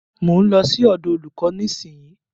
Mo ń lọ sí ọ̀dọ̀ olúkò nísìyí.